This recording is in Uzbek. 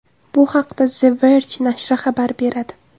Bu haqda The Verge nashri xabar beradi.